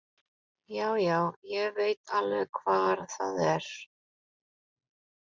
Já, já, ég veit alveg hvar það er.